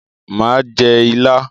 Mà á jẹ ilá.